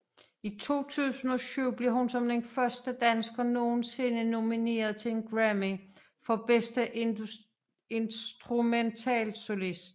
I 2007 blev hun som den første dansker nogensinde nomineret til en Grammy for bedste instrumentalsolist